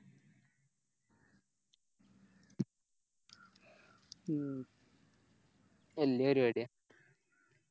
ഉം വല്യ പരിപാടി